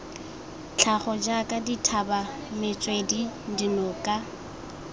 tlhago jaaka dithaba metswedi dinoka